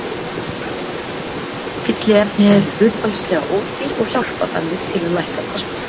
Fylliefni eru hlutfallslega ódýr og hjálpa þannig til að lækka kostnað.